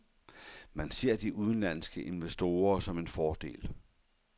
Man ser de udenlandske investorer som en fordel.